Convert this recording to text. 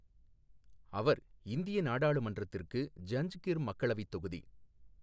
அவர் இந்திய நாடாளுமன்றத்திற்கு ஜஞ்கிர் மக்களவை தொகுதி.